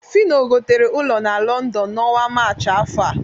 Fịno gotere ụlọ na Lọndọn n'ọnwa Maachị afọ a